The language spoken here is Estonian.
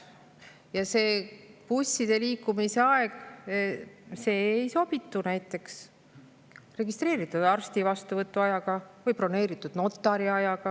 Ja busside liikumise aeg ei sobituda näiteks arsti vastuvõtuajaga või broneeritud notariajaga.